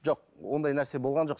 жоқ ондай нәрсе болған жоқ